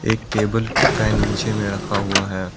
एक table fan नीचे में रखा हुआ है।